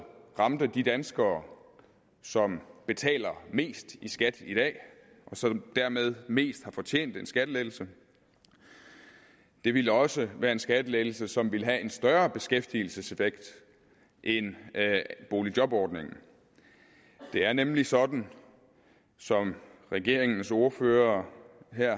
ramte de danskere som betaler mest i skat i dag og som dermed mest har fortjent en skattelettelse det ville også være en skattelettelse som ville have en større beskæftigelseseffekt end boligjobordningen det er nemlig sådan som regeringens ordførere